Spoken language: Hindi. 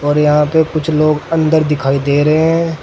और यहां पे कुछ लोग अंदर दिखाई दे रहे हैं।